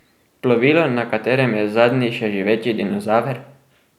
Plovilo, na katerem je zadnji še živeči dinozaver?